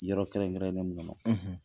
Yɔrɔ kɛrɛn kɛrɛnnen mun kɔnɔ